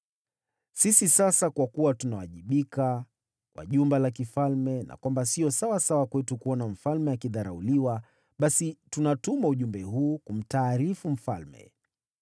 Sisi sasa kwa kuwa tunawajibika kwa jumba la kifalme na kwamba siyo sawasawa kwetu kuona mfalme akidharauliwa, basi tunatuma ujumbe huu kumtaarifu mfalme,